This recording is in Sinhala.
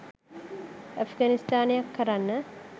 ඇප්ගනිස්තානයක් කරන්න.